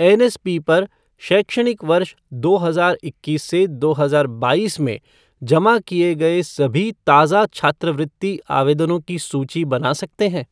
NSP पर शैक्षणिक वर्ष दो हजार इक्कीस से दो हजार बाईस में जमा किए गए सभी ताज़ा छात्रवृत्ति आवेदनों की सूची बना सकते हैं ?